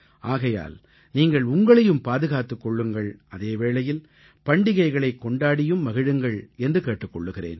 ஆகையால் நீங்கள் உங்களையும் பாதுகாத்துக் கொள்ளுங்கள் அதே வேளையில் பண்டிகைகளைக் கொண்டாடியும் மகிழுங்கள் என்று கேட்டுக் கொள்கிறேன்